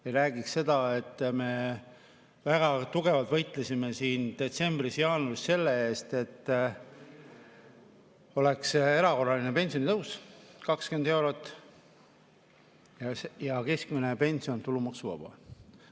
Ma räägiksin sellest, et me väga tugevalt võitlesime siin detsembris-jaanuaris selle eest, et oleks erakorraline pensionitõus 20 eurot ja keskmine pension tulumaksuvaba.